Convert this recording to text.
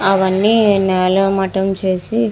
అవి అన్ని నేల మఠం చేసి --